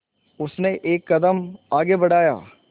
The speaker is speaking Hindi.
उसने एक कदम आगे बढ़ाया